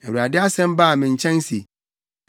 Na Awurade asɛm baa me nkyɛn se,